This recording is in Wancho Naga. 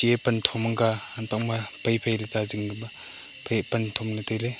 e pan thong maga hanpang ma pai pai le zingke ka ma phai pan thongle taile.